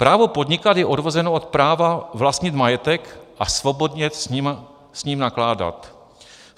Právo podnikat je odvozeno od práva vlastnit majetek a svobodně s ním nakládat.